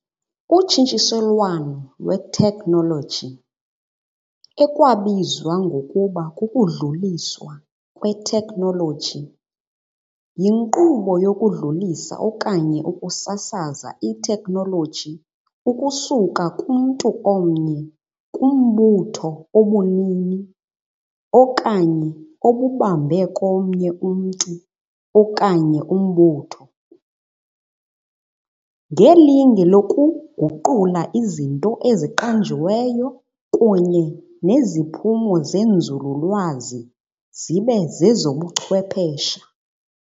Utshintshiselwano lwethekhinoloji , ekwabizwa ngokuba kukudluliswa kwethekhinoloji, yinkqubo yokudlulisa, ukusasaza, ithekhinoloji ukusuka kumntu omnye kumbutho obunini okanye obubambe komnye umntu okanye umbutho, ngelinge lokuguqula izinto eziqanjiweyo kunye neziphumo zenzululwazi zibe zezobuchwephesha.